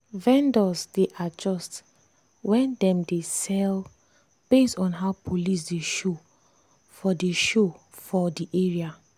vendors dey adjust when dem dey sell based on how police dey show for dey show for the area.